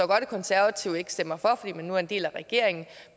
godt at konservative ikke stemmer for fordi man nu er en del af regeringen